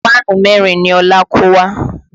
Páànù mẹ́rin ni Ọlá kó wá